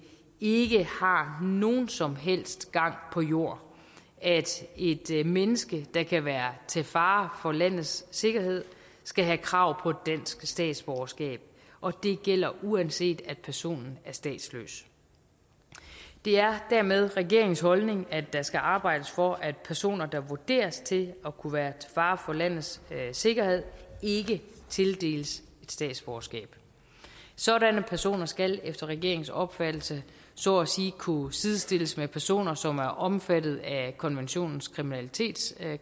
ikke har nogen som helst gang på jord at et menneske der kan være til fare for landets sikkerhed skal have krav på dansk statsborgerskab og det gælder uanset at personen er statsløs det er dermed regeringens holdning at der skal arbejdes for at personer der vurderes til at kunne være til fare for landets sikkerhed ikke tildeles statsborgerskab sådanne personer skal efter regeringens opfattelse så at sige kunne sidestilles med personer som er omfattet af konventionens kriminalitetskrav